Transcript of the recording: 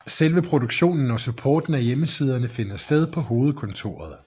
Selve produktionen og supporten af hjemmesiderne finder sted på hovedkontoret